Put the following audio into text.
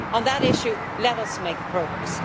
So on that issue, let us make progress.